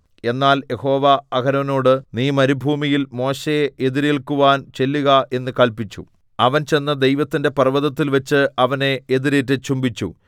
എന്നാൽ യഹോവ അഹരോനോട് നീ മരുഭൂമിയിൽ മോശെയെ എതിരേല്ക്കുവാൻ ചെല്ലുക എന്ന് കല്പിച്ചു അവൻ ചെന്ന് ദൈവത്തിന്റെ പർവ്വതത്തിൽവച്ച് അവനെ എതിരേറ്റ് ചുംബിച്ചു